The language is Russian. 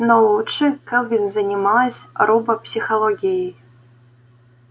но лучше кэлвин занималась робопсихологией